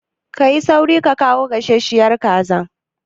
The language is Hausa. Ka yi sauri ka kawo gasasshiyar kazar!